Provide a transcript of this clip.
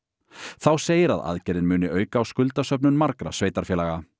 þá segir að aðgerðin muni auka á skuldasöfnun margra sveitarfélaga